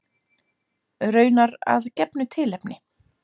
Raunar að gefnu tilefni.